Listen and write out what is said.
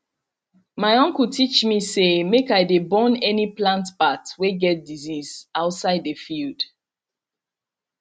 my uncle teach me say make i dey burn any plant part wey get disease outside the field